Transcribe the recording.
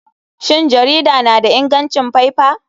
Shin jarida na da ingancin faifa?